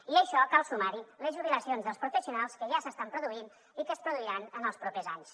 i a això cal sumar hi les jubilacions dels professionals que ja s’estan produint i que es produiran en els propers anys